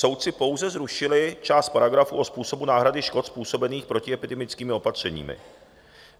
Soudci pouze zrušili část paragrafu o způsobu náhrady škod způsobených protiepidemickými opatřeními.